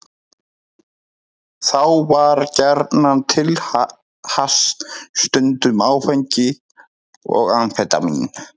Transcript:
Þá var gjarnan til hass, stundum áfengi og amfetamín.